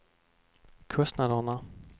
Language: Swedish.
kostnaderna